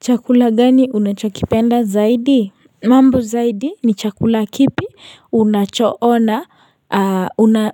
Chakula gani unachokipenda zaidi? Mambo zaidi ni chakula kipi unacho ona